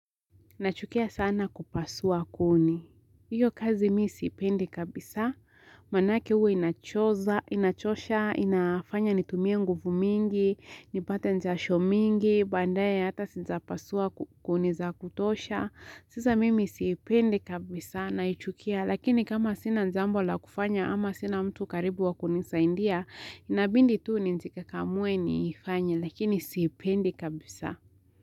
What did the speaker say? Nachukia sana kupasua kuni. Iyo kazi misipendi kabisa. Manake uwe inachoza, inachosha, inafanya nitumie nguvu mingi, nipate njasho mingi, bandaye hata sinja pasua kuni za kutosha. Sisa mimi sipendi kabisa na ichukia. Lakini kama sina njambo la kufanya ama sina mtu karibu wa kunisaindia, inabindi tuu njika kamwe niifanya lakini sipendi kabisa.